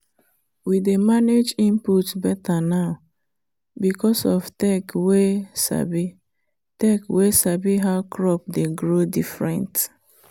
we dey manage input better now because of tech wey sabi tech wey sabi how crop dey grow different.